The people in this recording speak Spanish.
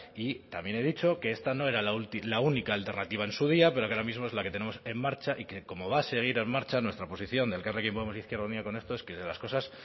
y también he dicho que esta no era la única alternativa en su día pero que ahora mismo es la que tenemos en marcha y que como va a seguir en marcha nuestra posición de elkarrekin podemos e izquierda unida con esto es que las cosas